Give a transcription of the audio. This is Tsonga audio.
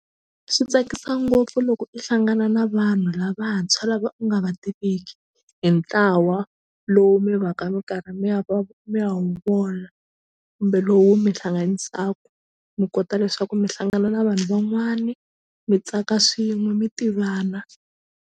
Swi tsakisa ngopfu loko i hlangana na vanhu lavantshwa lava u nga va tiviki hi ntlawa lowu mi va ka mi karhi mi ya mi ya wu vona kumbe lowu mi hlanganisaku mi kota leswaku mi hlangana na vanhu van'wani mi tsaka swin'we mi tivana.